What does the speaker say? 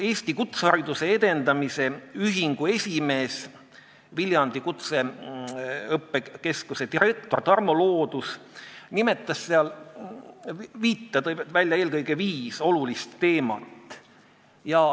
Eesti Kutseõppe Edendamise Ühingu esimees, Viljandi Kutseõppekeskuse direktor Tarmo Loodus tõi seal välja viis olulist teemat.